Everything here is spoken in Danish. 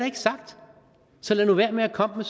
ikke sagt så lad nu være med at komme